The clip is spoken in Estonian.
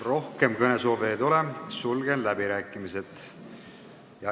Rohkem kõnesoove ei ole, sulgen läbirääkimised.